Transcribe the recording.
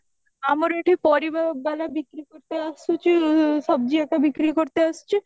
ଆମର ଏଠି ପାରିବ ବାଲା ବିକ୍ରି ଗୋଟେ ଆସୁଚି ସବଜି ଯାକ ବିକ୍ରି ଆସୁଚି